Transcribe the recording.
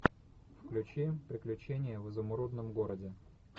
включи приключения в изумрудном городе